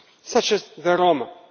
such as the Roma.